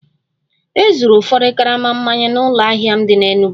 E zuuru ụfọdụ karama mmanya n'ụlọ ahịa m dị n'Enugwu